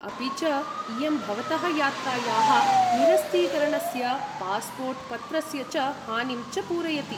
अपि च, इयं भवतः यात्रायाः निरस्तीकरणस्य, पास्पोर्ट् पत्रस्य च हानिं च पूरयति।